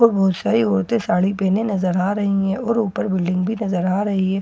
और बहुत सारी औरते साड़ी पहने नजर आ रही है और ऊपर बिल्डिंग भी नजर आ रही है और --